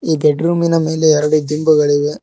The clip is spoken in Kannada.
ಈ ಬೆಡ್ ರೂಮಿನ ಮೇಲೆ ಎರಡು ದಿಂಬುಗಳಿವೆ.